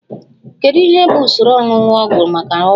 Kedu ihe bụ usoro oñuñu ọgwụ maka ọgwụ?